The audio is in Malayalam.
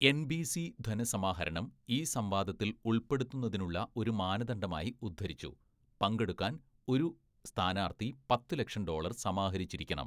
എൻബിസി ധനസമാഹരണം ഈ സംവാദത്തിൽ ഉൾപ്പെടുത്തുന്നതിനുള്ള ഒരു മാനദണ്ഡമായി ഉദ്ധരിച്ചു, പങ്കെടുക്കാൻ ഒരു സ്ഥാനാർത്ഥി പത്ത്‌ ലക്ഷം ഡോളർ സമാഹരിച്ചിരിക്കണം.